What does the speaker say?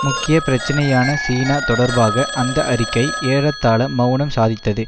முக்கிய பிரச்சனையான சீனா தொடர்பாக அந்த அறிக்கை ஏறத்தாழ மெளனம் சாதித்தது